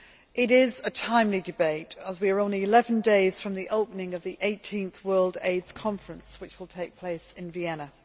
It is a timely debate, as we are only 11 days from the opening of the 18th World AIDS Conference, which will take place in Vienna.